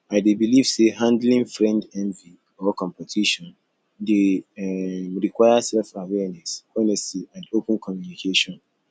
i dey believe say handling friend envy or competition dey um require selfawareness honesty and open communication